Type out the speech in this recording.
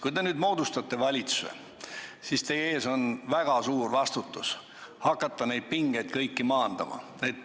Kui te nüüd moodustate valitsuse, siis teil lasub väga suur vastutus hakata kõiki neid pingeid maandama.